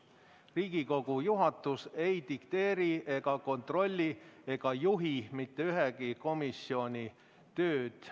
Riigikogu juhatus ei dikteeri, kontrolli ega juhi mitte ühegi komisjoni tööd.